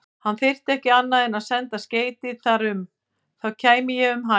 Hann þyrfti ekki annað en senda skeyti þar um, þá kæmi ég um hæl.